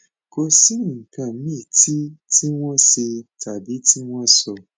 kò sí nǹkan míì tí tí wọn ṣe tàbí tí wọn sọ